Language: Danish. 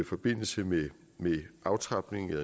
forbindelse med